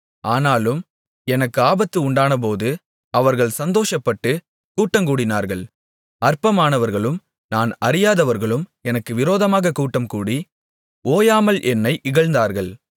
ஆனாலும் எனக்கு ஆபத்து உண்டானபோது அவர்கள் சந்தோஷப்பட்டுக் கூட்டங்கூடினார்கள் அற்பமானவர்களும் நான் அறியாதவர்களும் எனக்கு விரோதமாகக் கூட்டம் கூடி ஓயாமல் என்னை இகழ்ந்தார்கள்